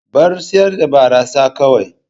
Bar sayar da barasa kawai.